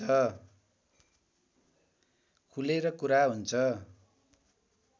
खुलेर कुरा हुन्छ